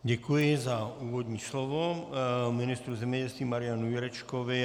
Děkuji za úvodní slovo ministru zemědělství Marianu Jurečkovi.